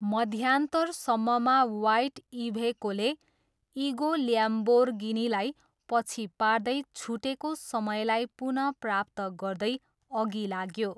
मध्यान्तरसम्ममा white इभेकोले इगो ल्याम्बोर्गिनीलाई पछि पार्दै छुटेको समयलाई पुनः प्राप्त गर्दै अघि लाग्यो।